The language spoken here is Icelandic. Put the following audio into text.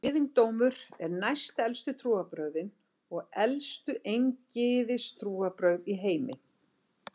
Gyðingdómur eru næstelstu trúarbrögðin og elstu eingyðistrúarbrögð í heimi.